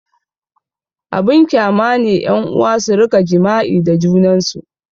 Abin kyama ne ƴan'uwa su rika jima'i da junansu